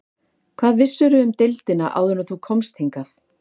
Hvað vissirðu um deildina áður en þú komst hingað?